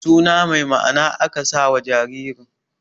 Su na mai ma'ana aka sa wa jaririn